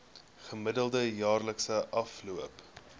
gemiddelde jaarlikse afloop